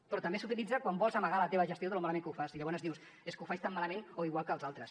però també s’utilitza quan vols amagar la teva gestió de lo malament que ho fas i llavors dius és que ho faig tan malament o igual que els altres